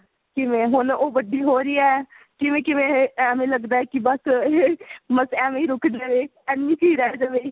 ਕਿਵੇਂ ਹੈ ਹੁਣ ਉਹ ਵੱਡੀ ਹੋ ਰਹੀ ਹੈ ਕਿਵੇਂ ਕਿਵੇਂ ਇਹ ਐਵੇਂ ਲੱਗਦਾ ਇਹ ਕੀ ਬੱਸ ਬੱਸ ਐਵੇਂ ਹੀ ਰੁੱਕ ਜਾਏ ਇੰਨੀ ਕ ਰਹਿ ਜਾਵੇ